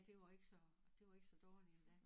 Det var ikke så det var ikke så dårligt endda